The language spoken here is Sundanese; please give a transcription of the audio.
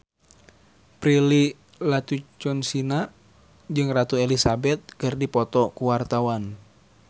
Prilly Latuconsina jeung Ratu Elizabeth keur dipoto ku wartawan